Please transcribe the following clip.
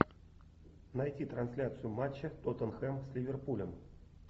найти трансляцию матча тоттенхэм с ливерпулем